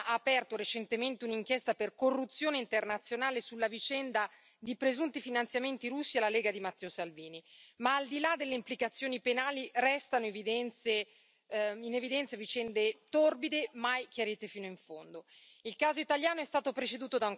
Intanto la magistratura italiana ha aperto recentemente un'inchiesta per corruzione internazionale sulla vicenda di presunti finanziamenti russi alla Lega di Matteo Salvini, ma al di là delle implicazioni penali restano in evidenza vicende torbide, mai chiarite fino in fondo.